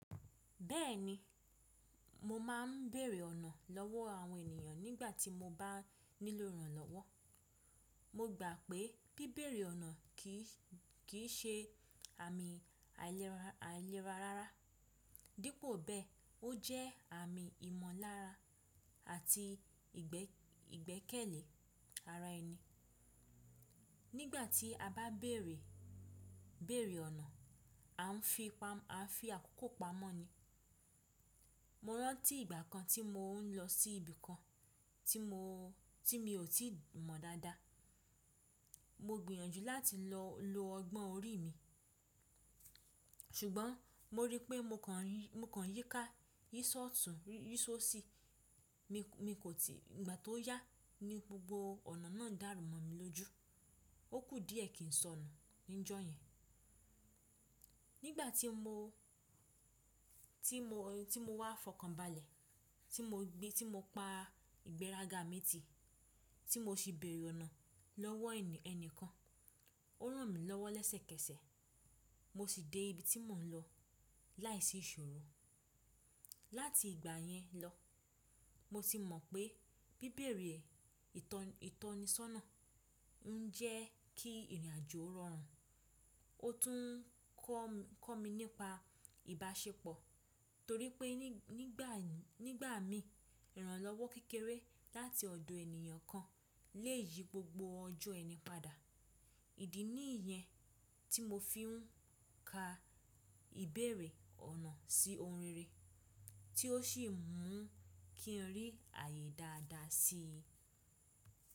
Bẹ́ẹ̀ni, mo máà ń bèèrè ọ̀nà lọ́wọ́ àwọn ènìyàn nígbà tí mo bá nílò ìrànlọ́wọ́. Mo gbà pé bíbèrè ọ̀nà kì í ṣe àmì àìlera rárá, dípò bẹ́ẹ̀, ó jẹ́ àmì ìmọ̀lára àti ìgbẹ́kẹ̀lé ara ẹni. Nígbà tí a bá bèrè ọ̀nà, a ń fi àkókò pamọ́ ni. Mo rántí ìgbà kan tí mò ń lọ sí ibi kan tí mi ò tí mọ̀ dáadáa. Mo gbìyànjú láti lọ lo ọgbọ́n orí mi, ṣùgbọ́n mo rí pé mo kan yí ká, yí ṣọtùn, yí ṣó ṣí. Ìgbà tó yá ni gbogbo ọ̀nà náà dàrú mọ́ mi lójú. Ó kù díẹ̀ kí n sọnù níjọ́ yẹn. Nígbà tí mo wà fọkànbalẹ̀, tí mo pa ìgbéraga mi tì, tí mo sì bèrè ọ̀nà lọ́wọ́ ẹnìkan, ó ràn mí lọ́wọ́ lẹ́sẹ̀kẹsẹ̀ mo sì dé ibi tí mò ń lọ láìsí ìṣòro. Láti ìgbà yẹn lọ, mo ti mọ̀ pé bíbèrè ìtọ́nisọ́nà ń jẹ́ kí ìrìnàjò rọrùn. Ó tún kọ̀ mí nípa ìbáṣepọ̀ torí pé nígbà mí, ìrànlọ́wọ́ kékeré láti ọ̀dọ̀ ènìyàn kan le yí gbogbo ọjọ́ ẹni padà. Ìdí nìyẹn tí mo fi ń ka ìbèrè ọ̀nà sí orin rere tí ó sì mú kí n rí àyè dáadáa sí i.